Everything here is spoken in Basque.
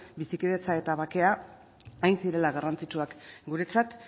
bizikidetza eta bakea hain zirela garrantzitsuak guretzat